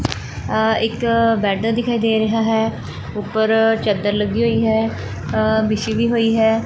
ਆ ਇੱਕ ਬੈਡ ਦਿਖਾਈ ਦੇ ਰਿਹਾ ਹੈ ਉੱਪਰ ਚਦਰ ਲੱਗੀ ਹੋਈ ਹੈ ਅ ਵਿਛੀ ਵੀ ਹੋਈ ਹੈ।